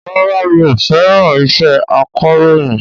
Rárá mi ò fẹ́ràn iṣẹ́ akọ̀rọ̀yìn